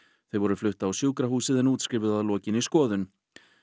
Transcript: þau voru flutt á sjúkrahúsið en útskrifuð að lokinni skoðun